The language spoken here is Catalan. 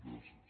gràcies